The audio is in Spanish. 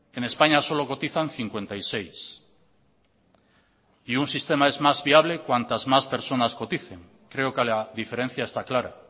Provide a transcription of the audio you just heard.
en españa solo cotizan cincuenta y seis y un sistema es más viable cuantas más personas coticen creo que la diferencia está clara